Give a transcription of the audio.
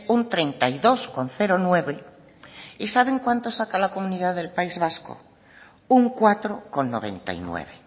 un treinta y dos coma nueve y saben cuánto saca la comunidad del país vasco un cuatro coma noventa y nueve